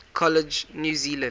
college new zealand